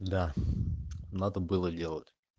да надо было делать